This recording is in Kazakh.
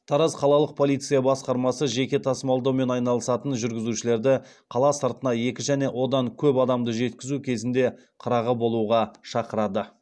тараз қалалық полиция басқармасы жеке тасымалдаумен айналысатын жүргізушілерді қала сыртына екі және одан көп адамды жеткізу кезінде қырағы болуға шақырады